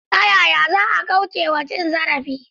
Ta yaya za a kauce wa cin zarafi?